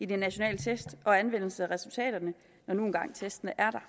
de nationale test og anvendelsen af resultaterne når nu engang testene er der